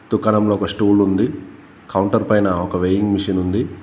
దుకాణంలో ఒక స్టూల్ ఉంది కౌంటర్ పైన ఒక వేయింగ్ మిషన్ ఉంది.